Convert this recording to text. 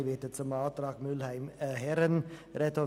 Ich werde zum Antrag Mühlheim und Herren sprechen.